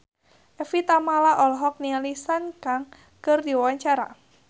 Evie Tamala olohok ningali Sun Kang keur diwawancara